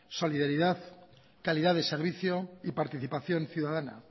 solidaridad calidad de servicio y participación ciudadana